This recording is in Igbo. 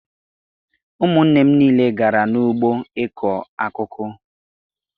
Ụmụnne m niile gara n'ugbo ịkụ akụkụ.